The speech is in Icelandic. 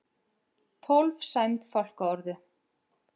Tólf sæmd fálkaorðu